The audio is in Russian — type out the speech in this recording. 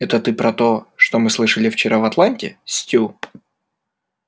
это ты про то что мы слышали вчера в атланте стю